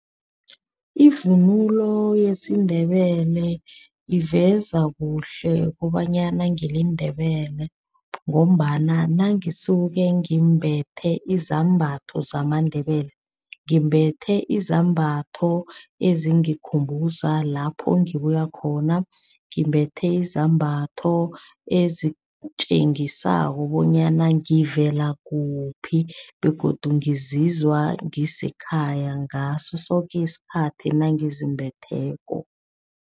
Ivunulo yesiNdebele iveza kuhle kobanyana ngiliNdebele ngombana nangisuke ngimbethe izambatho zamaNdebele, ngimbethe izambatho ezingikhumbuza lapho ngibuyakhona. Ngimbethe izambatho ezitjengisako bonyana ngivela kuphi begodu ngizizwa ngisekhaya ngaso soke isikhathi nangizimbetheko.